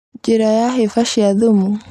Njĩra ya hĩba cia thumu